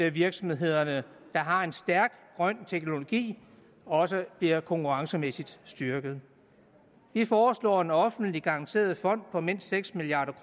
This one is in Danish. at virksomheder der har en stærk grøn teknologi også bliver konkurrencemæssigt styrket vi foreslår en offentligt garanteret fond på mindst seks milliard